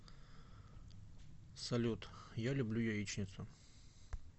салют я люблю яичницу